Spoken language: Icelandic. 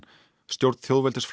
stjórn